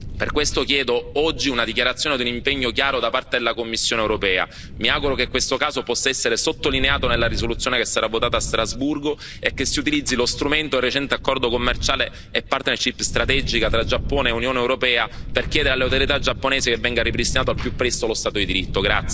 Per questo chiedo oggi una dichiarazione ad un impegno chiaro da parte della Commissione europea. Mi auguro che questo caso possa essere sottolineato nella risoluzione che sarà votata a Strasburgo e che si utilizzi lo strumento del recente accordo commerciale e partnership strategica tra Giappone e Unione europea per chiedere alle autorità giapponesi che venga ripristinato al più presto lo Stato di diritto.